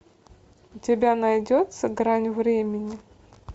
у тебя найдется грань времени